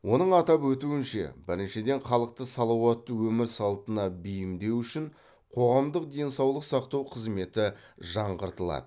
оның атап өтуінше біріншіден халықты салауатты өмір салтына бейімдеу үшін қоғамдық денсаулық сақтау қызметі жаңғыртылады